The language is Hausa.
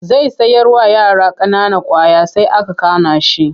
Zai sayarwa yara ƙanana ƙwaya sai aka kana shi.